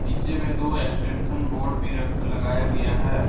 पीछे में दो एक्सटेंशन बोर्ड भी रख लगाया गया है।